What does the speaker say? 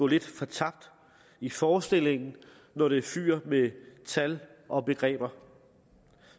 lidt fortabt i forestillingen når det fyger med tal og begreber